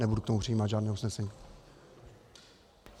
Nebudu k tomu přijímat žádné usnesení.